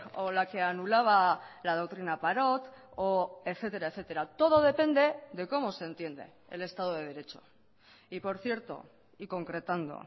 o la que anulaba la doctrina parot o etcétera etcétera todo depende de cómo se entiende el estado de derecho y por cierto y concretando